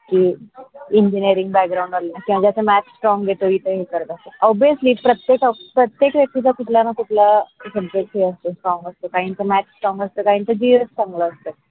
engineering background त्याच्य च math strong इत हे करत असतात. obviusly प्रत्यक प्रत्येक व्यक्तीचा कुठला ना कुठला संघर्ष अस strong असतो काहींच math असत काहींच gs चांगला असतो.